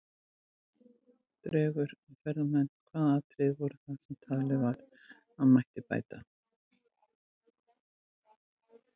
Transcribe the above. Dregur að ferðamenn Hvaða atriði voru það sem talið var að mætti bæta?